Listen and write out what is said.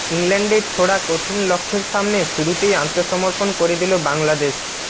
ইংল্যান্ডের ছোড়া কঠিন লক্ষ্যের সামনে শুরুতেই আত্মসমর্পণ করে দিল বাংলাদেশ